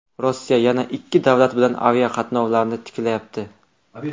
Rossiya yana ikki davlat bilan aviaqatnovlarni tiklayapti.